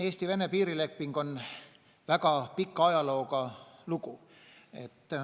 Eesti-Vene piirileping on väga pika ajalooga lugu.